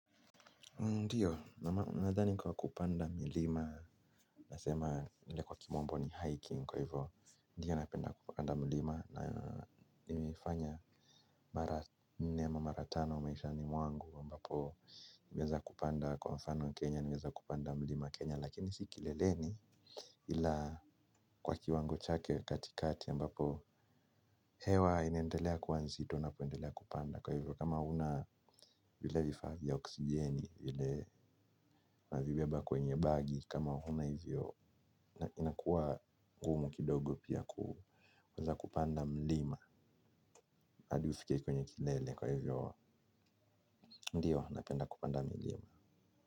Ndio, nadhani kwa kupanda milima, nasema ile kwa kimombo ni hiking, kwa hivyo. Ndio napenda kupanda mlima, na nimeifanya mara nne ama mara tano maishani mwangu, ambapo nimeweza kupanda kwa mfano Kenya, nimeweza kupanda mlima Kenya, lakini si kileleni ila kwa kiwango chake katikati, ambapo hewa inaendelea kuwa nzito, unapoendelea kupanda kwa hivyo kama huna vile vifaa vya oksijeni vile unazibeba kwenye bagi kama huna hivyo inakuwa gumu kidogo pia kuweza kupanda mlima hadi ufike kwenye kilele kwa hivyo ndio napenda kupanda mlima.